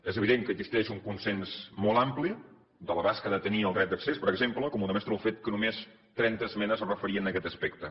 és evident que existeix un consens molt ampli de l’abast que ha de tenir el dret d’accés per exemple com ho demostra el fet que només trenta esmenes es referien a aquest aspecte